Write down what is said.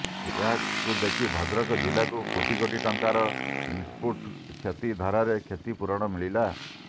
ଏହାକୁ ଦେଖି ଭଦ୍ରକ ଜିଲାକୁ କୋଟି କୋଟି ଟଙ୍କାର ଇନ୍ପୁଟ କ୍ଷତି ଧାରାରେ କ୍ଷତି ପୂରଣ ମିଳିଲା